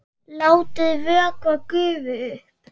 Látið vökva gufa upp.